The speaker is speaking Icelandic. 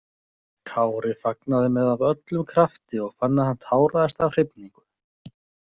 Kári fagnaði með af öllum krafti og fann að hann táraðist af hrifningu.